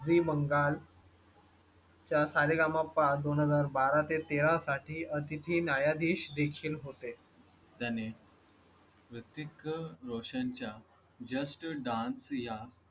Zee, Bengal. च्या सा रे गा मा पा दोन हजार बराहा तेरा साठी तिथे न्यायाधीश देखील होते त्याने रित्विक रोशन च्या just dance या.